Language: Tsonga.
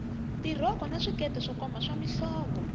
tirhoko na swikete swo koma swa mihlovo